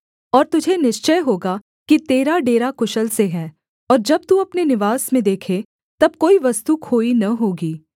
और तुझे निश्चय होगा कि तेरा डेरा कुशल से है और जब तू अपने निवास में देखे तब कोई वस्तु खोई न होगी